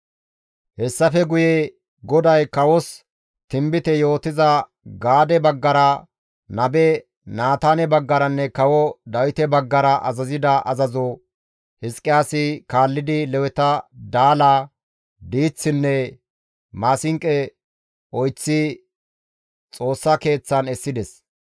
Hessafe guye GODAY kawos tinbite yootiza Gaade baggara, nabe Naataane baggaranne kawo Dawite baggara azazida azazo Hizqiyaasi kaallidi Leweta daala, diiththinne maasinqo oyththidi Xoossa Keeththan essides.